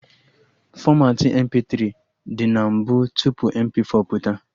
Fọmatị MP3 dị na mbụ tupu MP4 pụta